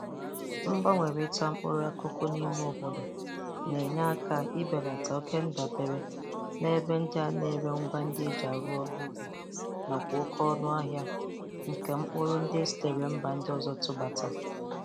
Mgbanwerịta mkpụrụ akụkụ n'ime obodo na-enye aka ibelata okendabere n'ebe ndị ana-ere ngwa ndị a e ji arụ ọrụ ubi nakwa oke ọnụ ahia nke mkpụrụ ndị e sitere mba ndị ọzọ tụbata.